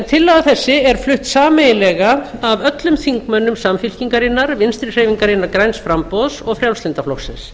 tillaga þessi er flutt sameiginlega af öllum þingmönnum samfylkingarinnar vinstri hreyfingarinnar græns framboðs og frjálslynda flokksins